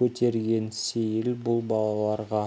көтерген сейіл бұл балаларға